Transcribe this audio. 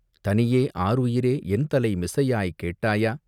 தனியே ஆருயிரே என்தலை மிசையாய் கேட்டாயா...